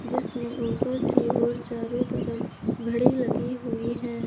जिसमें ऊपर की ओर चारों तरफ घड़ी लगी हुई हैं।